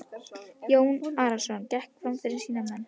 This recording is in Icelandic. Jón Arason gekk fram fyrir sína menn.